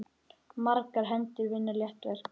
Margar hendur vinna létt verk.